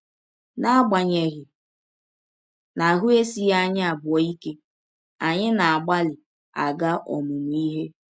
N’agbanyeghị na ahụ́ esighị anyị abụọ ike, anyị na - agbalị aga ọmụmụ ihe.